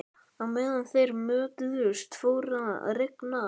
Á meðan þeir mötuðust fór að rigna.